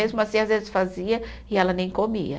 Mesmo assim, às vezes fazia e ela nem comia.